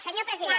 senyor president